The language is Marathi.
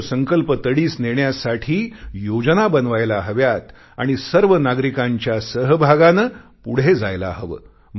तो संकल्प तडीस नेण्यासाठी योजना बनवायला हव्यात आणि सर्व नागरिकांच्या सहभागाने पुढे जायला हवे